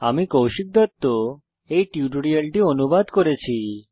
আমি কৌশিক দত্ত এই টিউটোরিয়ালটি অনুবাদ করেছি